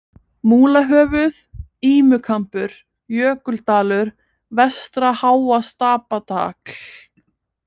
Múlahöfuð, Ímukambur, Jökuldalur, Vestra-Háastapatagl